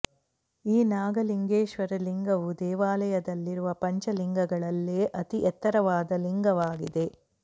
ಈ ನಾಗಲಿಂಗೇಶ್ವರ ಲಿಂಗವು ದೇವಾಲಯದಲ್ಲಿರುವ ಪಂಚ ಲಿಂಗಗಳಲ್ಲೆ ಅತಿ ಎತ್ತರವಾದ ಲಿಂಗವಾಗಿದೆ